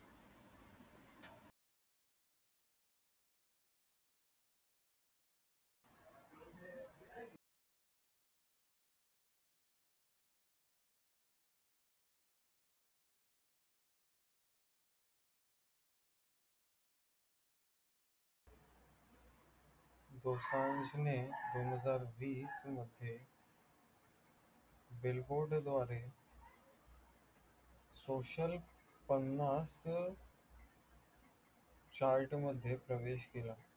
दोसांजने दोनहजार वीस मध्ये billboard द्वारे social पन्नास chart मध्ये प्रवेश केला.